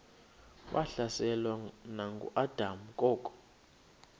wahlaselwa nanguadam kok